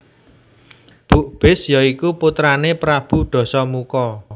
Bukbis ya iku putrané Prabu Dasamuka